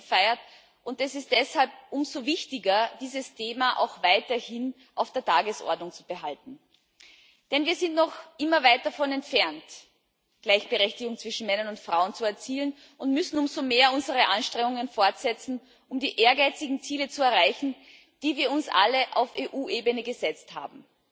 8. März, gefeiert. Es ist deshalb umso wichtiger, dieses Thema auch weiterhin auf der Tagesordnung zu behalten, denn wir sind noch immer weit davon entfernt, Gleichberechtigung zwischen Männern und Frauen zu erzielen, und müssen umso mehr unsere Anstrengungen fortsetzen, um die ehrgeizigen Ziele zu erreichen, die wir uns alle auf EU Ebene gesetzt haben.